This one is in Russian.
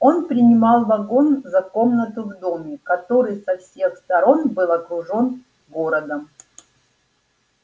он принимал вагон за комнату в доме который со всех сторон был окружен городом